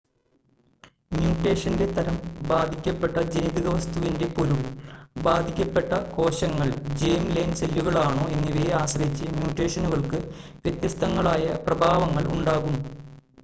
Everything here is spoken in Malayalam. മ്യൂട്ടേഷൻ്റെ തരം ബാധിക്കപ്പെട്ട ജനിതക വസ്തുവിൻ്റെ പൊരുൾ ബാധിക്കപ്പെട്ട കോശങ്ങൾ ജേം-ലൈൻ സെല്ലുകളാണോ എന്നിവയെ ആശ്രയിച്ച് മ്യൂട്ടേഷനുകൾക്ക് വ്യത്യസ്തങ്ങളായ പ്രഭാവങ്ങൾ ഉണ്ടാകും